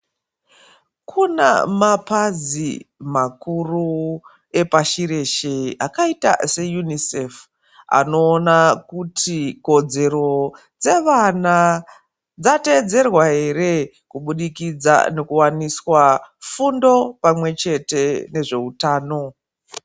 Kuna mapazi makuru epashireshe akaita se UNICEF anowona kuti kodzero dzevana dzateedzerwa here kubudikidza nokuwaniswa fundo pamwechete nezveutano